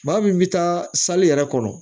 Maa min bɛ taa yɛrɛ kɔrɔ